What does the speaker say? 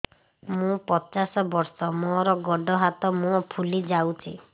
ମୁ ପଚାଶ ବର୍ଷ ମୋର ଗୋଡ ହାତ ମୁହଁ ଫୁଲି ଯାଉଛି